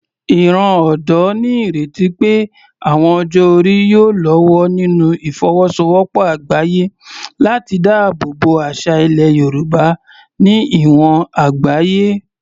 Ìran ọ̀dọ́ ní ìrètí pé ìwọ̀n ọjọ́ orí yóò lọ́wọ́ nínú ìfọwọ́sowọ́pọ̀ àgbáyé láti dáàbò bo àṣà ilẹ̀ Yorùbá ní ìwọ̀n àgbáyé.